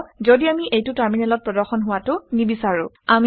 কি হব ঘদি আমি এইটো টাৰ্মিনেলত প্ৰদৰ্শন হোৱাটো নিবিচাৰো